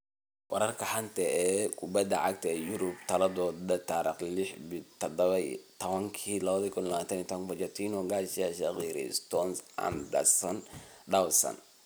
Wararka xanta kubada cagta Yurub Talaado 06.10.2020: Pochettino, Garcia, Shaqiri, Stones, Anderson, Dawson